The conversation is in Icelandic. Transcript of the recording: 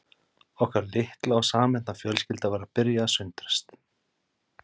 Okkar litla og samhenta fjölskylda var að byrja að sundrast